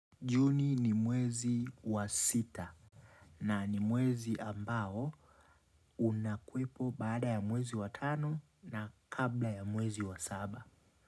Juni ni mwezi wa sita na ni mwezi ambao unakuwepo baada ya mwezi wa tano na kabla ya mwezi wa saba.